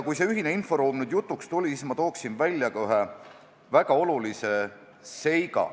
Kui see ühine inforuum nüüd juba jutuks tuli, siis ma tooksin ära ka ühe väga olulise seiga.